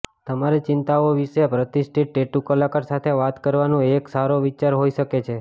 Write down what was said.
તમારી ચિંતાઓ વિશે પ્રતિષ્ઠિત ટેટુ કલાકાર સાથે વાત કરવાનું એક સારો વિચાર હોઈ શકે છે